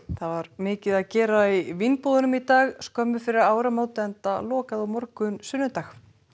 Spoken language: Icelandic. það var mikið að gera í vínbúðunum í dag skömmu fyrir áramót enda lokað á morgun sunnudag